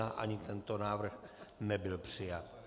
Ani tento návrh nebyl přijat.